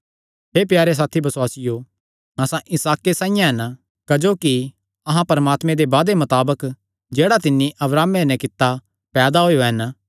हे प्यारे साथी बसुआसियो अहां इसहाके साइआं हन क्जोकि अहां परमात्मे दे वादे मताबक जेह्ड़ा तिन्नी अब्राहमे नैं कित्ता पैदा होएयो हन